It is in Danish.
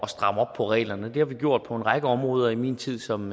stramme op på reglerne det har vi gjort på en række områder i min tid som